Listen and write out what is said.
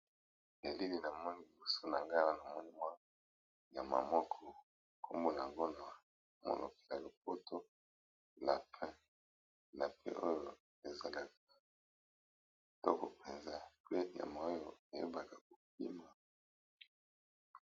Elili na moni liboso na nga na moni mwa nyama moko nkombo na ngo na mono ya lopoto lapin, lapin oyo ezalaka kitoko mpenza, mpe nyama oyo eyebaka kokima.